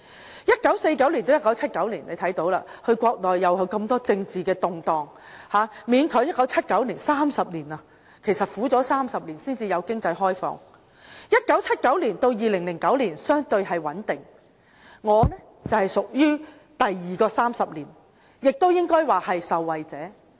在1949年到1979年，眾所周知，國內有很多政治動盪，勉強到1979年，苦了30年才有經濟開放；在1979年到2009年相對穩定，我是屬於第二個30年，亦應該說是受惠者。